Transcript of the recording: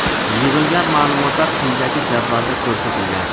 Yig‘ilgan ma’lumotlar quyidagi jadvalda ko‘rsatilgan.